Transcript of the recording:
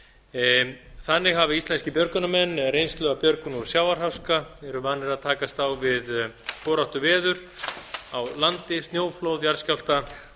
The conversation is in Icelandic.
björgunarverkefnum þannig hafa íslenskir björgunarmenn reynslu af björgun úr sjávarháska eru vanir að takast á við foráttuveður á landi snjóflóð jarðskjálfta